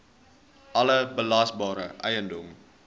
alle belasbare eiendom